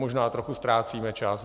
Možná trochu ztrácíme čas.